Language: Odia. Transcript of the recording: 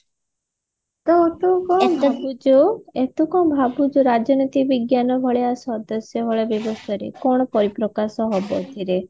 ତ ତୁ କଣ ଯୋଉ ବୁଝୋଉ ଏ ତୁ କଣ ଭାବୁଛୁ ରାଜନୀତି ବିଜ୍ଞାନ ଭଳିଆ ସଦସ୍ୟ ବହୁଳ ବ୍ୟବସ୍ତା ରେ କଣ ପରିପ୍ରକାଶ ହେବ ଏଥିରେ